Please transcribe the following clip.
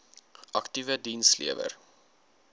aktiewe diens lewer